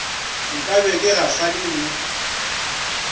nka be ke gahlane le